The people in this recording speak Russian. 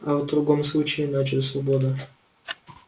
а в другом случае иначе свобода